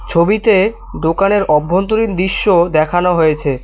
ছবিতে দোকানের অভ্যন্তরীণ দৃশ্য দেখানো হয়েছে।